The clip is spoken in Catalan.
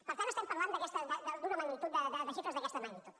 per tant estem parlant d’una magnitud de xifres d’aquesta magnitud